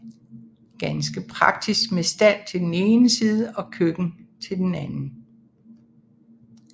Ganske praktisk med stald til den ene side og køkken til den anden